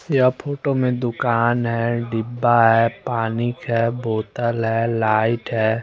यहाँ फोटो में दुकान है डिब्बा है पानी ख्या बोतल है लाइट है।